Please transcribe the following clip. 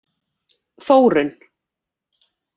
Þórunn